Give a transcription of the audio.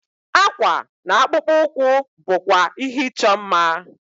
Akwa na akpụkpọ ụkwụ bụkwa ihe ịchọ mma.